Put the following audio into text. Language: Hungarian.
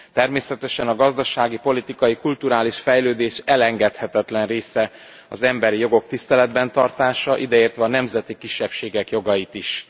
Természetesen a gazdasági, politikai, kulturális fejlődés elengedhetetlen része az emberi jogok tiszteletben tartása, ideértve a nemzeti kisebbségek jogait is.